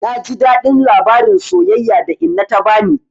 Na ji daɗin labarin soyayya da inna ta bani.